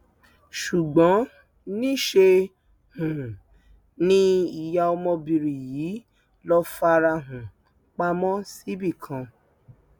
ṣùgbọn níṣẹ um ni ìyá ọmọbìnrin yìí lọọ fara um pamọ síbì kan